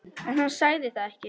En hann sagði það ekki.